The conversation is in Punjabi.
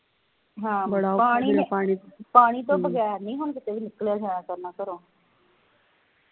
ਹਾਂ ਪਾਣੀ ਪਾਣੀ ਤੋਂ ਬਗੈਰ ਨਹੀ ਹੁਣ ਕਿਤੇ ਵੀ ਨਿਕਲਿਆ ਜਾਇਆ ਘਰੋ